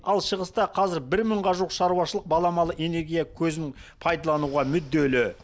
ал шығыста қазір бір мыңға жуық шаруашылық баламалы энергия көзін пайдалануға мүдделі